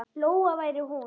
Lóa væri hún.